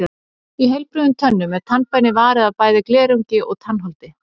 Í heilbrigðum tönnum er tannbeinið varið af bæði glerungi og tannholdi.